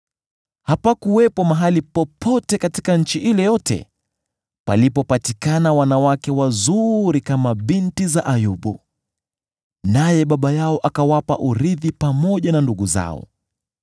Hapakuwepo mahali popote katika nchi ile yote palipopatikana wanawake wazuri kama binti za Ayubu; naye baba yao akawapa urithi pamoja na ndugu zao.